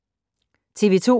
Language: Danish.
TV 2